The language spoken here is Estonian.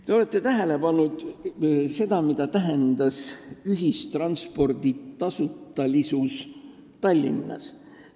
Te olete ehk tähele pannud, mida tähendab ühistranspordi tasutalisus Tallinnas?